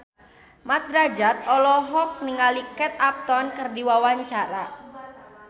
Mat Drajat olohok ningali Kate Upton keur diwawancara